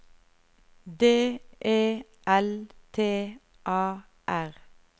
D E L T A R